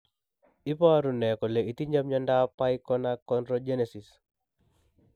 Iporu ne kole itinye miondap Pyknoachondrogenesis?